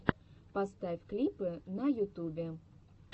поставь клипы на ютубе